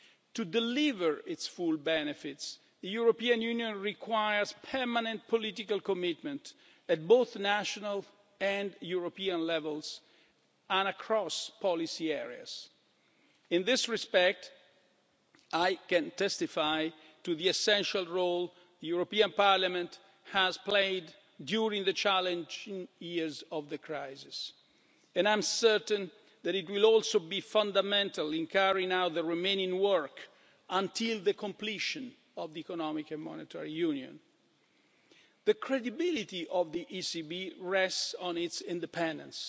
To deliver its full benefits, the European Union requires permanent political commitment, at both national and European levels, and across policy areas. In this respect I can testify to the essential role the European Parliament has played during the challenging years of the crisis and I am certain that it will also be fundamental in carrying out the remaining work until the completion of Economic and Monetary Union. The credibility of the ECB rests on its independence